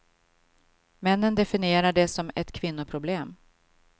Männen definierar det som ett kvinnoproblem.